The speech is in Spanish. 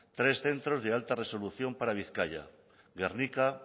tres centros de alta resolución para bizkaia gernika